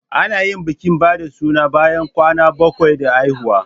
Ana yin bikin ba da suna bayan kwana bakwai da haihuwa.